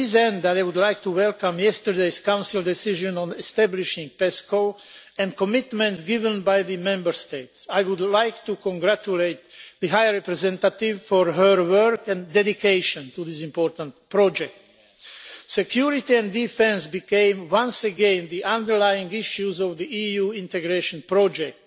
To this end, I would like to welcome yesterday's Council decision on establishing PESCO and the commitments given by the Member States. I would like to congratulate the High Representative for her work and dedication to this important project. Security and defence has once again become the underlying issue of the EU integration project.